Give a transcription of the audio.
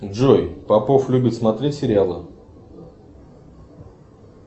джой попов любит смотреть сериалы